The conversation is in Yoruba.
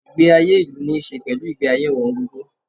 Ìgbé ayé ìlú níí ṣe pẹ̀lú ìgbé ayé ọ̀wọ̀n gógó.